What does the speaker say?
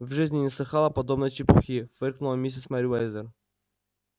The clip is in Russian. в жизни не слыхала подобной чепухи фыркнула миссис мерриуэзер